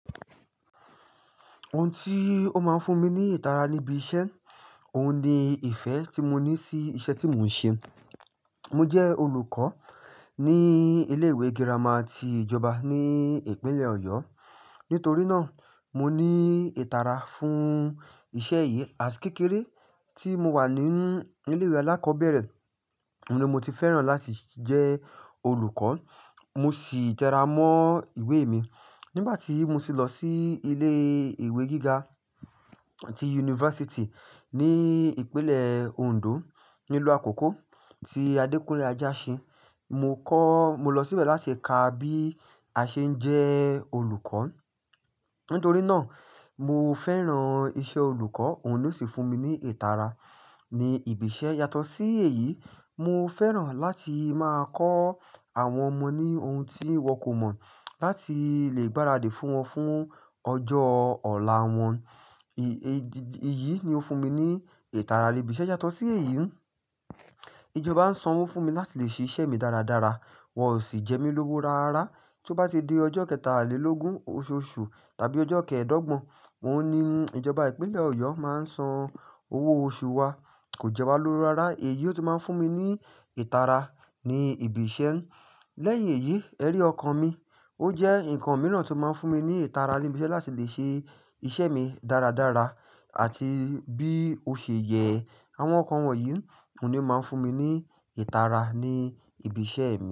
Ohun tí ó máa ń fún mi ní ìtara ní ibi iṣẹ́, òun ni ìfẹ́ tí mo ní sí iṣẹ́ tí mò ń ṣe. Mo jẹ́ olùkọ́ ní ilé ìwé girama ti ìjọba ní ìpínlẹ̀ Ọ̀yọ́. Nítorí náà, mo ní ìtara fún iṣẹ́ yìí. Àti kékeré tí mo wà ní ilé ìwé alákọ̀ọ́bẹ̀rẹ̀, ni mo ti fẹ́ràn láti jẹ́ olùkọ́. Mo sì jẹ́ra mọ́ ìwé mi. Nígbà tí mo sì lọ sí ilé ìwé gíga ti yunifásítì ní ìpínlẹ̀ Ondo, nílùú Àkókó ti Adékúnlé Ajásin, mo kọ́, mo lọ síbẹ̀ láti ka bí a ṣe ń jẹ́ olùkọ́. Nítorí náà, mo fẹ́ràn iṣẹ́ olùkọ́, òun ló sì fún mi ní ìtara ní ibi iṣẹ́. Yàtọ̀ sí èyí, mo fẹ́ràn láti máa kọ́ àwọn ọmọ ní ohun tí wọ́n kò mọ̀, láti lè gbáradì fún wọn fún ọjọ́ ọ̀la wọn. Èyí ni ó fún mi ní ìtara ní ibi iṣẹ́. Yàtọ̀ sí èyí, ìjọba ń san owó fún mi láti lè ṣe iṣẹ́ mi dáradára. Wọn ò sì jẹ mí lówó rárá. Tí ó bá ti di ọjọ́ kẹtàlélógún oṣù oṣù tàbí ọjọ́ kẹ́ẹ̀dọ́gbọ̀n, mò ń ní ìjọba ìpínlẹ̀ Ọ̀yọ́ máa ń san owó oṣù wa. Kò jẹ́ wa lówó rárá. Èyí ló máa ń fún mi ní ìtara ní ibi iṣẹ́. Lẹ́yìn èyí, ẹ rí ọkan mi. Ó jẹ́ ǹkan mìíràn tí ó máa ń fún mi ní ìtara ní ibi iṣẹ́ láti lè ṣe iṣẹ́ mi dáradára. Àti bí ó ṣe yẹ, àwọn ọkọ̀ wọ̀nyí ni ó máa ń fún mi ní ìtara ní ibi iṣẹ́ mi.